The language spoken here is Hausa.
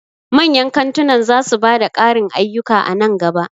Manyan kantunan za su ba da ƙarin ayyuka a nan gaba.